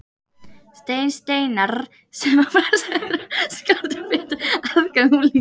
Stein Steinarr, sem á flestum öðrum skáldum betri aðgang að unglingum.